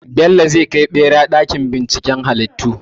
Bello zai kai ɓera ɗakin binciken halittu.